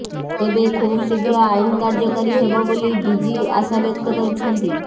ତେବେ ଖୁବଶୀଘ୍ର ଆଇନ କାର୍ଯ୍ୟକାରୀ ହେବ ବୋଲି ଡିଜି ଆଶାବ୍ୟକ୍ତ କରିଛନ୍ତି